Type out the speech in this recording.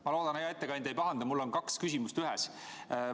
Ma loodan, et hea ettekandja ei pahanda, mul on kaks küsimust ühes.